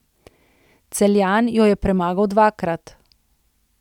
Celjan jo je premagal dvakrat.